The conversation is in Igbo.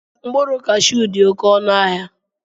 Mkpụrụ kashuu dị oké ọnụ ahịa